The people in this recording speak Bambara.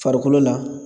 Farikolo la